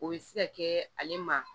O bɛ se ka kɛ ale ma